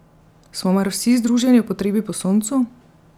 Smo mar vsi združeni v potrebi po soncu?